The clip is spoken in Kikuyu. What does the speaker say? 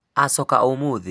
acoka o ũmũthĩ?